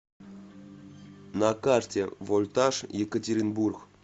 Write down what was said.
на карте вольтаж екатеринбург